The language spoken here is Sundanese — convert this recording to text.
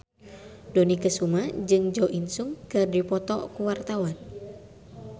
Dony Kesuma jeung Jo In Sung keur dipoto ku wartawan